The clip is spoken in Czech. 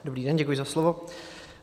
Dobrý den, děkuji za slovo.